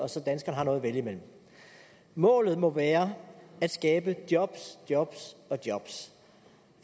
og så danskerne har noget at vælge mellem målet må være at skabe jobs jobs og jobs